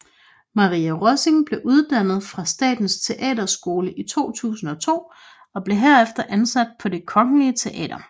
Maria Rossing blev uddannet fra Statens Teaterskole i 2002 og blev herefter ansat på Det Kongelige Teater